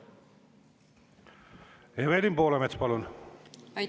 Evelin Poolamets, palun!